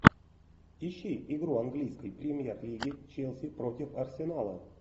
ищи игру английской премьер лиги челси против арсенала